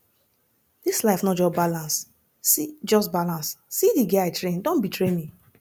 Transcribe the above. dis life no just balance see just balance see the girl i train don betray me